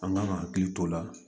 An kan ka hakili t'o la